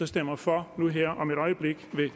stemmer for nu her om et øjeblik ved